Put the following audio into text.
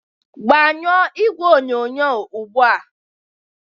gbanyụọ igwe onyonyo ugbu a.!